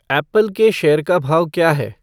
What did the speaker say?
Apple के share का भाव क्या है